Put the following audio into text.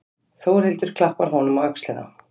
Þórhildur klappar honum á öxlina.